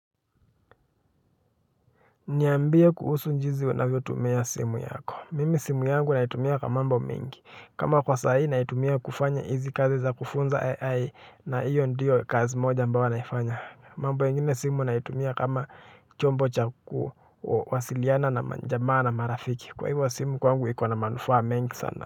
Niambie kuhusu jinsi unavyo tumia simu yako, mimi simu yangu naitumia kwa mambo mengi, kama kwa sahii naitumia kufanya hizi kazi za kufunza AI na hiyo ndiyo kazi moja ambayo naifanya mambo ingine simu naitumia kama chombo chaku kuwasiliana na majamaa na marafiki, kwa hivyo simu kwangu ikona manufaa mengi sana.